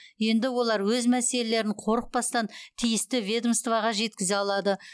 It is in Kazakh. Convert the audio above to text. енді олар өз мәселелерін қорықпастан тиісті ведомствоға жеткізе алады